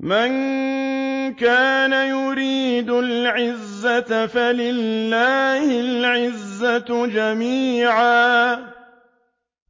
مَن كَانَ يُرِيدُ الْعِزَّةَ فَلِلَّهِ الْعِزَّةُ جَمِيعًا ۚ